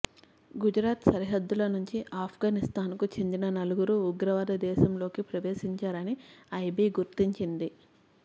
గుజరాత్ సరిహద్దుల నుంచి అఫ్గనిస్తాన్కు చెందిన నలుగురు ఉగ్రవాదులు దేశంలోకి ప్రవేశించారని ఐబీ గుర్తించింది